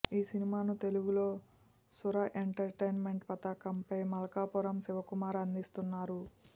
ఈ సినిమాను తెలుగులో సుర ఎంటర్టైన్మెంట్ పతాకంపై మల్కాపురం శివకుమార్ అందిస్తున్నారు